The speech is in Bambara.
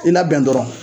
I labɛn dɔrɔn